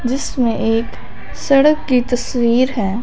जिसमें एक सड़क की तस्वीर है।